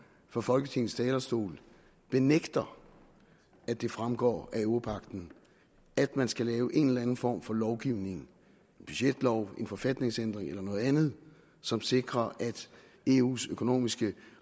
fra folketingets talerstol benægter at det fremgår af europagten at man skal lave en eller anden form for lovgivning en budgetlov en forfatningsændring eller noget andet som sikrer at eus økonomiske